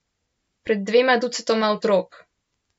Pred dvema ducatoma otrok.